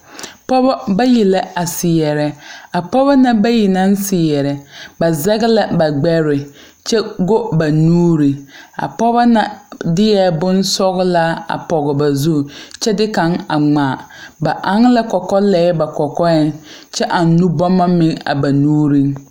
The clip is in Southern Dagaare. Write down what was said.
Pɔɔbɔ bayi la a seɛrɛ a pɔɔbɔ na bayi naŋ seɛrɛ ba zege ba gbɛɛ kyɛ go ba nuure a pɔɔba na deɛɛ bonsɔglaa a paŋ goɔ ba zu kyɛ de kaŋ a ngma ba ɛŋ la kɔkɔlɛɛ a ba kɔkɔɛŋ kyɛ ɛŋ nubommo meŋ a ba nuuriŋ.